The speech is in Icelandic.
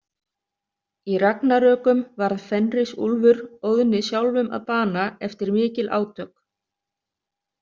Í Ragnarökum varð Fenrisúlfur Óðni sjálfum að bana eftir mikil átök.